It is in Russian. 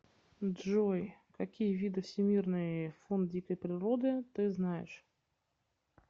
джой какие виды всемирный фонд дикой природы ты знаешь